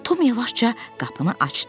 Tom yavaşca qapını açdı.